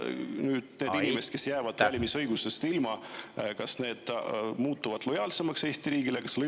Kas nüüd need inimesed, kes jäävad valimisõigusest ilma, muutuvad lojaalsemaks Eesti riigile?